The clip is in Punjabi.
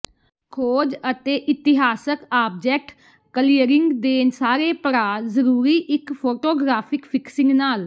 ਖੋਜ ਅਤੇ ਇਤਿਹਾਸਕ ਆਬਜੈਕਟ ਕਲੀਅਰਿੰਗ ਦੇ ਸਾਰੇ ਪੜਾਅ ਜ਼ਰੂਰੀ ਇੱਕ ਫ਼ੋਟੋਗ੍ਰਾਫ਼ਿਕ ਫਿਕਸਿੰਗ ਨਾਲ